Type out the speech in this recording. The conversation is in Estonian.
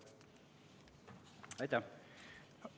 Aitäh!